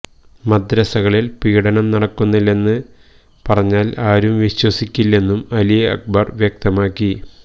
മദ്രസകളില് പീഡനം നടക്കുന്നില്ലെന്ന് പറഞ്ഞാല് ആരും വിശ്വസിക്കില്ലെന്നും അലി അക്ബര് വ്യക്തമാക്കി